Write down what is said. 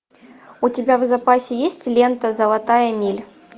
у тебя в запасе есть лента золотая миля